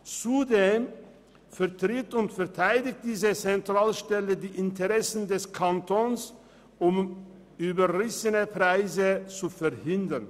Zudem vertritt und verteidigt diese Zentralstelle die Interessen des Kantons, um überrissene Preise zu verhindern.